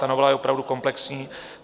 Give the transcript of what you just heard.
Ta novela je opravdu komplexní.